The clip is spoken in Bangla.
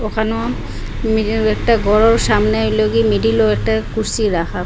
এখনো মিডিল -এ একটা ঘরও সামনে হইলো গিযে মিডল -ও একটা কুরসী রাখা।